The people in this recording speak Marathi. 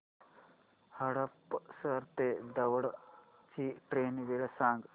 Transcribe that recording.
हडपसर ते दौंड ची ट्रेन वेळ सांग